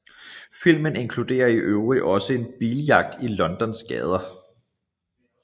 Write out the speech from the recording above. Filmen inkluderede i øvrigt også en biljagt i Londons gader